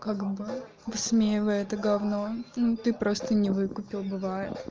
как бы высмеивая это говно ну ты просто не выкупил бывает